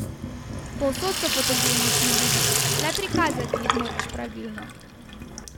Povsod so fotogenični ljudje, le prikazati jih moraš pravilno.